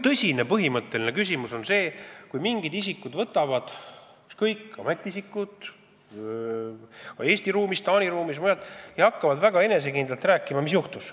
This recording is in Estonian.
Tõsine põhimõtteline küsimus tekib, kui mingid isikud – ükskõik, kas ametiisikud Eesti ruumis, Taani ruumis või mujal – hakkavad väga enesekindlalt rääkima, mis juhtus.